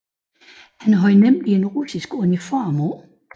Han havde nemlig en russisk uniform på